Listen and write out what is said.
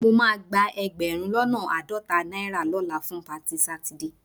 Mo máa gba ẹgbẹ̀rún lọ́nà àádọ́ta náírà lọ́la fún patí Sátidé